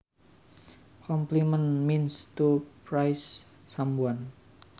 Compliment means to praise someone